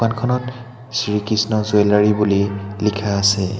দোকানখনত শ্ৰী কৃষ্ণ জুৱেলাৰী বুলি লিখা আছে।